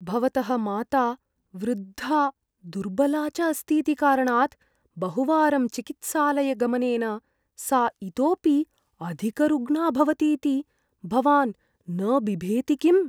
भवतः माता वृद्धा दुर्बला च अस्तीति कारणात्, बहुवारं चिकित्सालयगमनेन सा इतोपि अधिकरुग्णा भवतीति भवान् न बिभेति किम्?